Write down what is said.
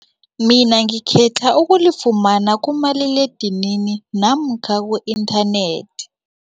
Mina ngikhetha ukulifumana kumaliledinini namkha ku-internet.